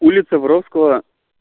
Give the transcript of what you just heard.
улица воровского